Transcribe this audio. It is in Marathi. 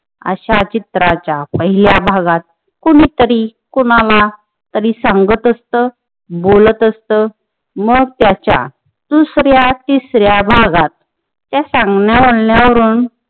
अशा चित्राच्या पहिल्या भागात कुणीतरी कुणाला कधी सांगत असत, बोलत असत मग त्याचा दुसऱ्या तिसऱ्या भागात त्या सांगण्या बोलण्यावरून